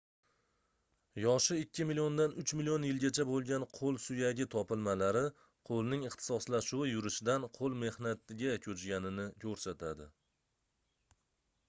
yoshi ikki milliondan uch million yilgacha boʻlgan qoʻl suyagi topilmalari qoʻlning ixtisoslashuvi yurishdan qoʻl mehnatiga koʻchganini koʻrsatadi